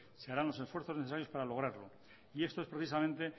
se harán los esfuerzos necesarios para lograrlo y esto es precisamente